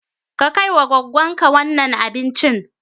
Ka kai wa goggon ka wannan abincin.